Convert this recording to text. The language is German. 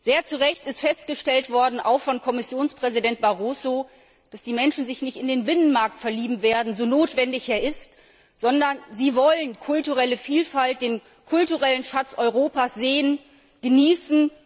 Sehr zu Recht ist festgestellt worden, auch von Kommissionspräsident Barroso, dass die Menschen sich nicht in den Binnenmarkt verlieben werden, so notwendig er ist, sondern sie wollen kulturelle Vielfalt, den kulturellen Schatz Europas sehen und genießen.